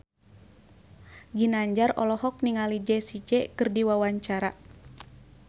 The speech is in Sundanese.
Ginanjar olohok ningali Jessie J keur diwawancara